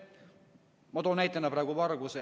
Ma toon näitena praegu varguse.